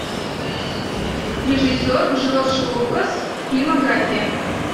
режиссер джордж лукас фильмография